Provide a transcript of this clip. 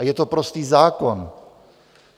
A je to prostý zákon.